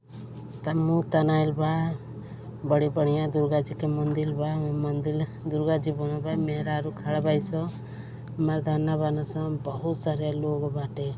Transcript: तन मु तनाइल बा। बड़ी बढ़िया दुर्गाजी के मंदिल बा। म् मंदिल दुर्गाजी बनल बाड़ी। मेहरारू खड़ा बाड़ी सन। मर्दाना बान स। बहुत सारा लोग बाटे।